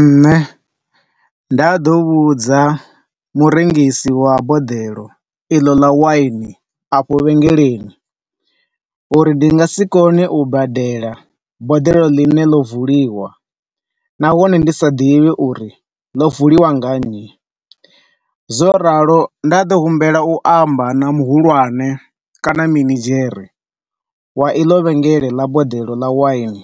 Nne nḓa ḓo vhudza murengisi wa boḓelo iḽo ḽa wine afho vhengeleni uri ndi nga si kone u badela boḓelo ḽine ḽo vuliwa nahone ndi sa ḓivhi uri ḽo vuliwa nga nnyi. Zwo ralo nda ḓo humbela u amba na muhulwane kana minidzhere wa iḽo vhengele ḽa boḓelo ḽa wine